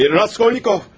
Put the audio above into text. Raskolnikov!